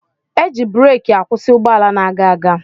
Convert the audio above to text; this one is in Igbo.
Eji bureki akwusi ụgbọala na-aga aga.